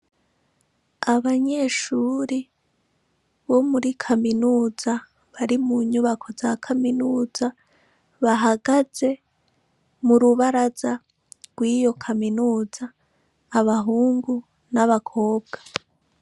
Abanyeshuri bo muri kaminuza bari mu nyubako za kaminuza bahagaze mu rubaraza rw'iyo kaminuza abahungu n'abakobwa.